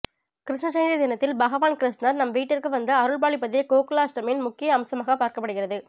கிருஷ்ண ஜெயந்தி தினத்தில் பகவான் கிருஷ்ணர் நம் வீட்டிற்கு வந்து அருள்பாலிப்பதே கோகுலாஷ்டமியின் முக்கிய அம்சமாக பார்க்கப்படுகிறது